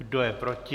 Kdo je proti?